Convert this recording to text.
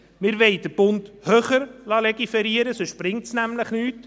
Wir wollen den Bund höher legiferieren lassen, sonst bringt es nämlich nichts.